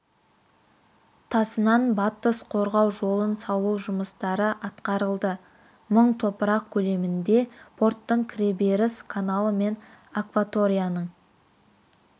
тасынан батыс қорғау жолын салу жұмыстары атқарылды мың топырақ көлемінде порттың кіреберіс каналы мен акваторияның